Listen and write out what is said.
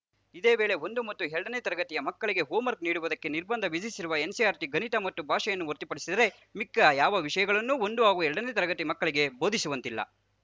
ಇದೇ ವೇಳೆ ಒಂದು ಮತ್ತು ಎರಡನೇ ತರಗತಿಯ ಮಕ್ಕಳಿಗೆ ಹೋಮ್‌ವರ್ಕ್ ನೀಡುವುದಕ್ಕೆ ನಿರ್ಬಂಧ ವಿಧಿಸಿರುವ ಎನ್‌ಸಿಇಆರ್‌ಟಿ ಗಣಿತ ಮತ್ತು ಭಾಷೆಯನ್ನು ಹೊರತುಪಡಿಸಿದರೆ ಮಿಕ್ಕ ಯಾವ ವಿಷಯಗಳನ್ನೂ ಒಂದು ಹಾಗೂ ಎರಡನೇ ತರಗತಿ ಮಕ್ಕಳಿಗೆ ಬೋಧಿಸುವಂತಿಲ್ಲ